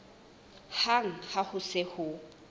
hang ha ho se ho